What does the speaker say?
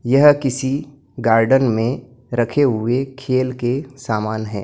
यह किसी गार्डन में रखे हुए खेल के सामान है।